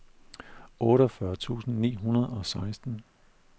otteogfyrre tusind ni hundrede og seksten